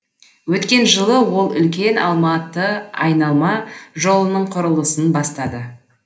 өткен жылы ол үлкен алматы айналма жолының құрылысын бастады